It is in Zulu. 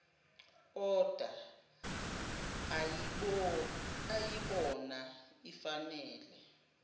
oda ayibona ifanele